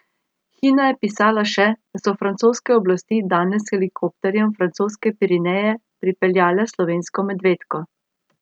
Hina je pisala še, da so francoske oblasti danes s helikopterjem v francoske Pireneje prepeljale slovensko medvedko.